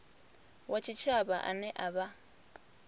wa tshitshavha ane a vha